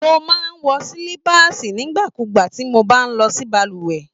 Mo máa n wọ silipaasi nígbà kúgbà ti mo bá n lọ sí balùwẹ̀.